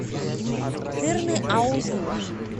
тырныаузу